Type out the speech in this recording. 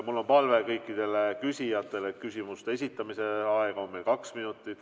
Mul on palve kõikidele küsijatele: küsimuste esitamise aeg on meil kaks minutit.